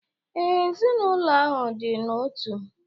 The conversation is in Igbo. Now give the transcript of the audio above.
Ee, ezinaụlọ ahụ dị n'otu.